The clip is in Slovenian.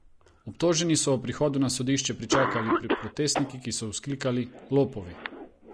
Obtožene so ob prihodu na sodišče pričakali protestniki, ki so vzklikali: "Lopovi!